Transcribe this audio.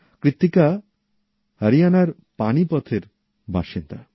কৃত্তিকা হরিয়ানার পানীপথের বাসিন্দা